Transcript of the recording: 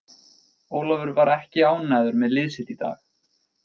Ólafur var ekki ánægður með lið sitt í dag.